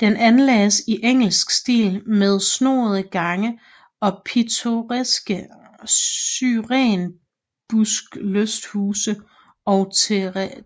Den anlagdes i engelsk stil med snoende gange og pittoreska syrenbuskelysthuse og